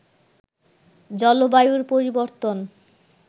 জলবায়ুর পরিবর্তন